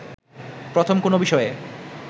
প্রথম কোনো বিষয়ে